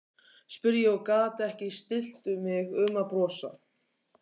spurði ég og gat ekki stillt mig um að brosa.